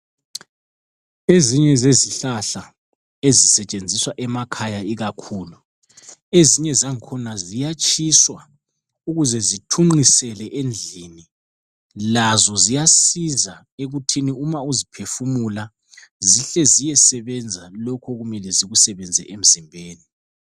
Ezinye zezihlahla ezisetshenziswa emakhaya ikakhulu, ezinye zang'khona ziyatshiswa ukuze zithunqisele endlini, lazo ziyasiza ekuthini uma uziphefumula zihle ziyesebenza lokho okumele zikusebenze emzimbeni.